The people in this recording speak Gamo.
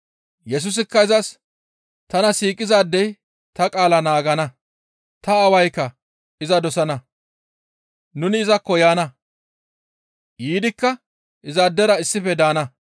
Yesusikka izas, «Tana siiqizaadey ta qaala naagana; ta Aawaykka iza dosana; nuni izakko yaana; yiidikka izaadera issife daana.